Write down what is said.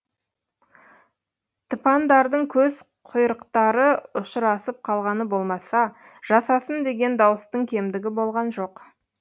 тыпандардың көз құйрықтары ұшырасып қалғаны болмаса жасасын деген дауыстың кемдігі болған жоқ